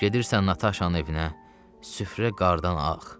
Gedirsən Nataşanın evinə, süfrə qardan ağ.